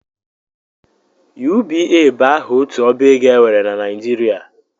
UBA bụ aha otu ọbaego e nwere na Nijirịa